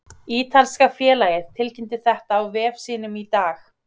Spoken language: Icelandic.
Ítalska félagið tilkynnti þetta á vef sínum í dag.